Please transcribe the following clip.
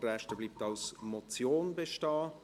Der Rest bleibt als Motion bestehen.